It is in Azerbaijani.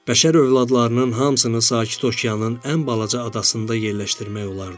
Bəşər övladlarının hamısını Sakit okeanın ən balaca adasında yerləşdirmək olardı.